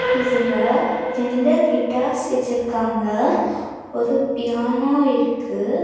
இதுல ரெண்டு கிட்டார்ஸ் வெச்சிருக்காங்க ஒரு பியானோ இருக்கு.